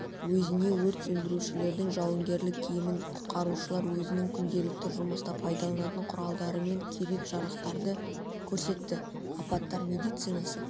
өзіне өрт сөндірушінің жауынгерлік киімін құтқарушылар өзінің күнделікті жұмыста пайдаланатын құралдармен керек-жарақтарды көрсетті апаттар медицинасы